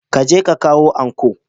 Ka je ka kawo anco!